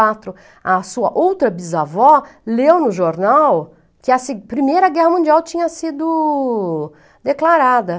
quatro. A sua outra bisavó leu no jornal que a se, a Primeira Guerra Mundial tinha sido declarada.